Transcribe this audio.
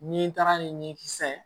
Ni taara ni ɲinkisɛ ye